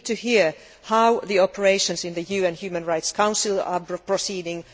We need to hear how the operations in the UN Human Rights Council are proceeding.